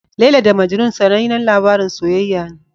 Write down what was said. Laila da Majnun sanannen labarin soyayya ne.